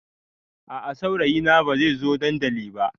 A a saurayina bai zai zo dandali ba.